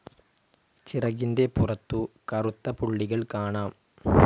ചിറകിൻ്റെ പുറത്തു കറുത്ത പുള്ളികൾ കാണാം.